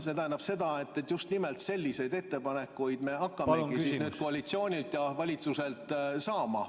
See tähendab seda, et just nimelt selliseid ettepanekuid me hakkamegi nüüd koalitsioonilt ja valitsuselt saama.